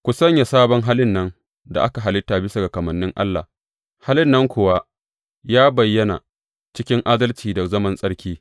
Ku sanya sabon halin nan da aka halitta bisa ga kamannin Allah, halin nan kuwa, yă bayyana cikin adalci, da zaman tsarki.